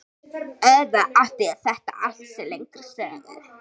Auðvitað átti þetta allt sér lengri sögu.